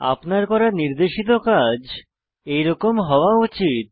আপনার করা নির্দেশিত কাজ এরকম হওয়া উচিত